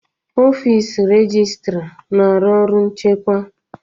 Ọfịs rejịstra na-arụ ọrụ nchịkwa.